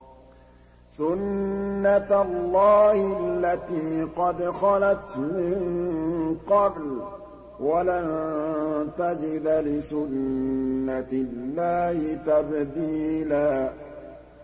سُنَّةَ اللَّهِ الَّتِي قَدْ خَلَتْ مِن قَبْلُ ۖ وَلَن تَجِدَ لِسُنَّةِ اللَّهِ تَبْدِيلًا